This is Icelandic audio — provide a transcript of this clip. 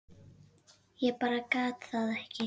Ég bara gat það ekki.